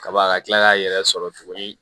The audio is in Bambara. Kaba ka tila k'a yɛrɛ sɔrɔ tuguni